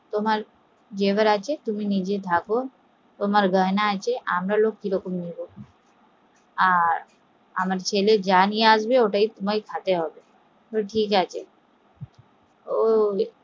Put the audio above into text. তোমার যা আছে তুমি রাখো তোমার গয়না আমরা কি করে নেবো আহ আমার ছেলে যা নিয়াসবে ওটাই তোমাকে খেতে হবে, ঠিক আছে